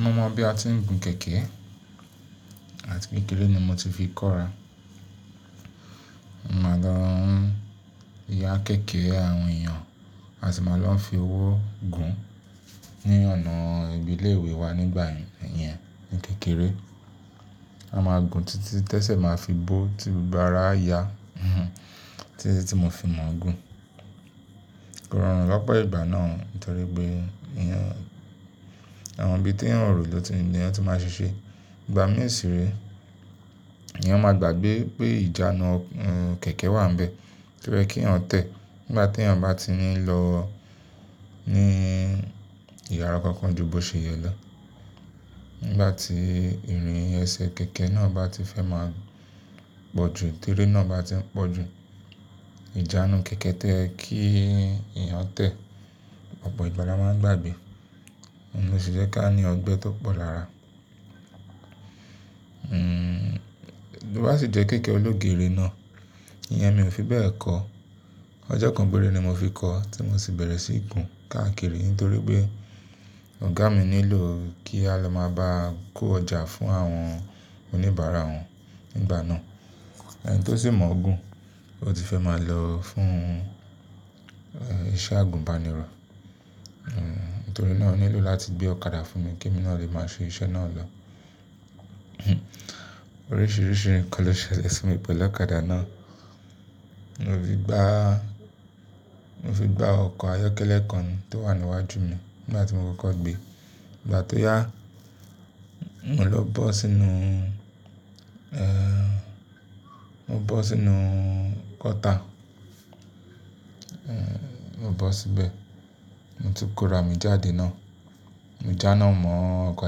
Mo mọ̀ bí a ti ń gùn kẹ̀kẹ́ àti kékeré ni mo ti fi kọ́ra. Màá lọ ń ya kẹ̀kẹ́ àwọn èèyàn àti ma lọ fi ọwọ́ gùn ní ọ̀nà ìbílẹ̀ ìlú iwẹ wa nígbà yẹn, ìyẹn ní kékeré. A máa gùn títí tẹ́sẹ̀ máa fi bó ti gbogbo ara a ya, títí tí mo fi mọ̀ gùn. Kórọ̀run lọ́pọ̀ ìgbà náà nítorí pé ìyẹn àwọn ibi tí èyàn ò rò ló ti ni èèyàn tó máa ṣe ṣe. Ìgbà mí ìṣeré, èèyàn máa gbàgbé pé ìjánu kẹ̀kẹ́ wà níbẹ̀, torí ẹ kí wọn tẹ̀. Nígbà tí èèyàn bá ti ní lọ ní ìyára kankan ju bó ṣe yẹ lọ. Nígbà tí ìrìn ẹsẹ̀ kẹ̀kẹ́ náà bá ti fẹ́ máa pọ̀ jù, tírí náà bá ti ń pọ̀ jù, ìjánu kẹ̀kẹ́ tẹ kí èèyàn tẹ̀. Ọ̀pọ̀ ìgbà la máa ń gbàgbé, ohun sì jẹ́ kí a ní ọgbẹ́ tó pọ̀ lára. Hmm, bí ó bá sì jẹ́ kẹ̀kẹ́ ológère náà, ìyẹn mi ò fi bẹ́ẹ̀ kọ́. Ọjọ́ kan pére ni mo fi kọ́, tí mo sì bẹ̀rẹ̀ sí ìgún káàkiri nítorí pé ọ̀gá mi nílò kí a lọ máa bá kó ọjà fún àwọn oníbàárà òun nígbà náà. Ẹni tó sì mọ̀ ọ́n gùn, ó ti fẹ́ máa lọ fún iṣẹ́ àgùnbánirọ̀. Hmm, nítorí náà ó nílò láti gbé ọ̀kadà fún mi kí èmi náà lè máa ṣe iṣẹ́ náà lọ. Oríṣiríṣi nǹkan ló ṣẹlẹ̀ fún mi pẹ̀lú ọ̀kadà náà. Mo fi gbá, mo fi gbá ọkọ̀ ayọ́kẹ́lẹ́ kan tó wà níwájú mi nígbà tí mo kọ́kọ́ gbé. Ìgbà tí ó yá, mò lọ bọ́ sínú, eeh, mo bọ́ sínú gọ́tà, mo bọ́ síbẹ̀. Mo ti kó ra mi jáde náà, mo jána mọ́ ọkọ̀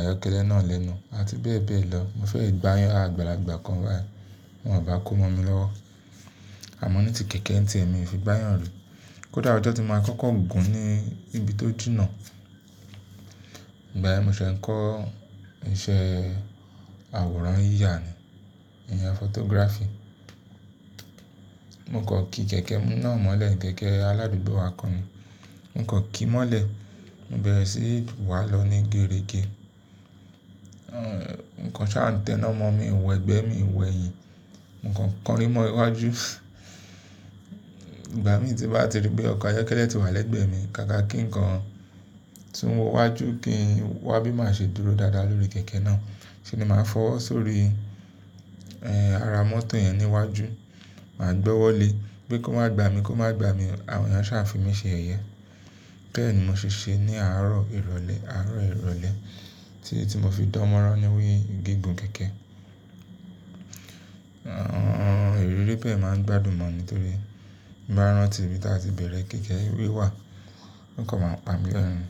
ayọ́kẹ́lẹ́ náà lẹ́nu àti bẹ́ẹ̀ bẹ́ẹ̀ lọ. Mo fẹ́ gbáyàn àgbàlagbà kan wá, wọ́n à bá kó mọ́ mi lọ́wọ́. Àmọ́ ní ti kẹ̀kẹ́ ń ti èmi fi gbáyàn lò. Kódà ọjọ́ tí mo máa kọ́kọ́ gùn ní ibi tó jìnà. Ìgbà yẹn mo ṣẹ̀ ń kọ́ iṣẹ́ àwòrán yíya ni, ìyẹn photography. Mo kọ̀ kí kẹ̀kẹ́ náà mọ́lẹ̀, kẹ̀kẹ́ aládùúgbò wa kan ni. Mo kọ̀ kí mọ́lẹ̀, mo bẹ̀rẹ̀ sí wá lọ ní gérege. Nǹkan ṣá n tẹ́ná mọ́ mi, ìwẹ̀ gbẹ mí, ìwẹ̀ yìí. Nǹkan kọrin mọ́ iwájú. Ìgbà mí tí bá ti rí pé ọkọ̀ ayọ́kẹ́lẹ́ ti wá lẹ́gbẹ̀ẹ́ mi, káàkà kí ǹkan tún wọ́ iwájú kí n wá bí máa ṣe dúró dáadáa lórí kẹ̀kẹ́ náà. Ṣé ni màá fọwọ́ sórí, eeh, ara mọ́tò yẹn níwájú, màá gbọ́wọ́lé. Gbé kó má gba mi, kó má gba mi, àwọn ẹ̀yàn ṣá fi mí ṣe ẹ̀yẹ. Bẹ́ẹ̀ ni mo ṣì ṣe ní àárọ̀ ìrọ̀lẹ́, àárọ̀ ìrọ̀lẹ́ tí mo fi dánmọ́rán níwé gígùn kẹ̀kẹ́. Ọ̀n-ọ́n, ìrírí bẹ́ẹ̀ máa ń gbádùn mọ̀ nítorí báárán tí ìta ti bẹ̀rẹ̀, kẹ̀kẹ́ ewé wà, nǹkan máa ń pa mí lọ́run.